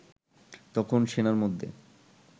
তখন সেনার মধ্যে